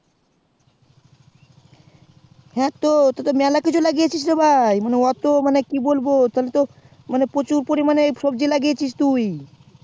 হ্যাঁ তো তুই তো ভাই মেলা কিছুই লাগিয়েছিস রে ভাই মানে অটো কি বলবো মানকে কি বলবো প্রচুর পড়ি মানে সবজি লাগিয়েছিস তুই